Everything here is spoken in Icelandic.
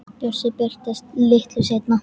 Bjössi birtist litlu seinna.